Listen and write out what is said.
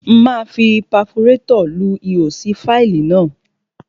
Máa fi paforétọ̀ lu ihò sí fáìlì náà.